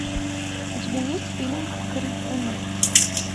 у тебя есть фильм крикуны